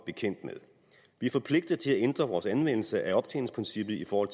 bekendt med vi er forpligtet til at ændre vores anvendelse af optjeningsprincippet for